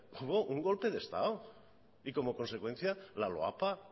hubo un golpe de estado y como consecuencia la loapa